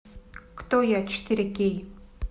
кто я четыре кей